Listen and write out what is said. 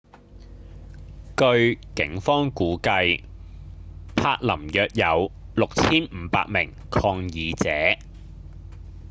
據警方估計柏林約有 6,500 名抗議者